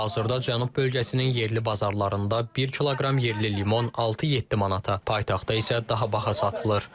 Hazırda Cənub bölgəsinin yerli bazarlarında bir kiloqram yerli limon 6-7 manata, paytaxtda isə daha baha satılır.